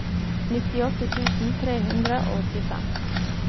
nittiåtte tusen tre hundre og åttifem